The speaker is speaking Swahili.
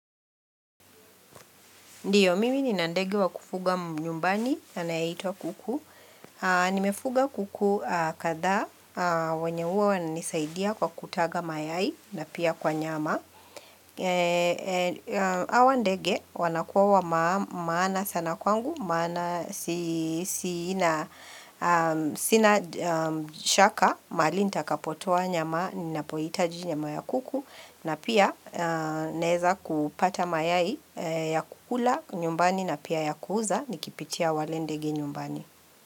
Ndiyo, mimi nina ndege wa kufuga nyumbani, anayeitwa kuku. Nimefuga kuku kadhaa, wenye huwa wananisaidia kwa kutaga mayai na pia kwa nyama. Hawa ndege, wanakua wa maana sana kwangu, maana sina shaka, mahali nitakapotoa nyama, ninapohitaji nyama ya kuku. Na pia naeza kupata mayai ya kukula nyumbani na pia ya kuuza nikipitia wale ndege nyumbani.